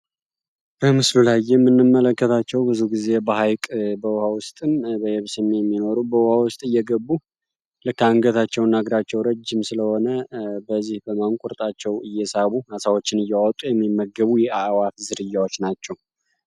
በምስሉ ላይ የምንመለከታቸው ብዙዉን ጊዜ በሀይቅ በውሀ ውስጥም በየብስም የሚኖሩ በውሃ ውስጥ እየገቡ አንገታቸው እና እግራቸው ረጅም ስለሆነ በዚህ በማንቁርጣቸው እየሳቡ አሳዎችን እያወጡ የሚመገቡ የአእዋፍት ዝርያዎች ናቸው።